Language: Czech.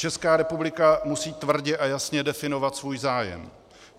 Česká republika musí tvrdě a jasně definovat svůj zájem.